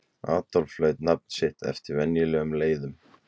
Adolf hlaut nafn sitt eftir venjulegum leiðum.